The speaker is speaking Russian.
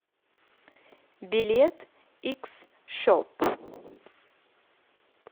билет икс шоп